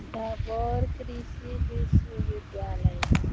सबौर कृषि विश्वविद्यालय है।